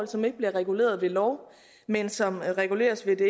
som ikke bliver reguleret ved lov men som reguleres ved det